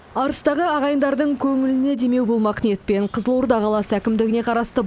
арыстағы ағайындардың көңіліне демеу болмақ ниетпен қызылорда қаласы әкімдігіне қарасты